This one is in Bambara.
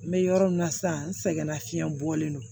N bɛ yɔrɔ min na sisan n sɛgɛnna fiɲɛ bɔlen don